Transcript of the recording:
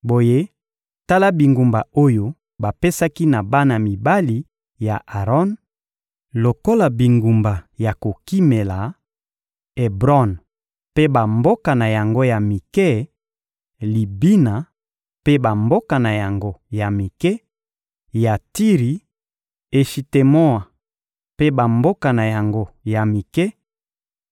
Boye tala bingumba oyo bapesaki na bana mibali ya Aron lokola bingumba ya kokimela: Ebron mpe bamboka na yango ya mike, Libina mpe bamboka na yango ya mike; Yatiri, Eshitemoa mpe bamboka na yango ya mike;